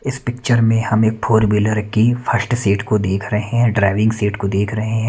इस पिक्चर मे हम एक फोर व्हीलर की फर्स्ट सीट को देख रहे हैं ड्राइविंग सीट को देख रहे हैं।